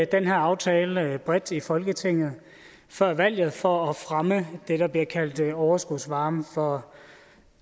den her aftale bredt i folketinget før valget for at fremme det der bliver kaldt overskudsvarme for